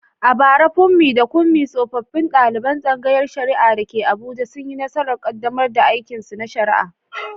A bara, Funmi da Kunmi tsofaffin daliban tsangayar shari’a da ke Abuja, sun yi nasarar kaddamar da aikinsu na shari’a.